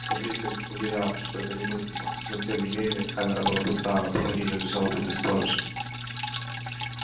смотритель уверял что это немыслимо но тем не менее камера была пуста а на пороге её лежал убитый сторож